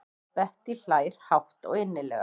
Bettý hlær hátt og innilega.